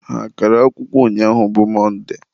ha agara akwụkwọ ụnyaahụ bụ Mọnde?